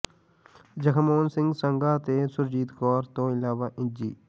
ਜਗਮੋਹਨ ਸਿੰਘ ਸੰਘਾ ਤੇ ਸੁਰਜੀਤ ਕੌਰ ਤੋਂ ਇਲਾਵਾ ਇੰਜੀ